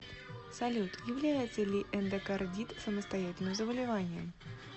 салют является ли эндокардит самостоятельным заболеванием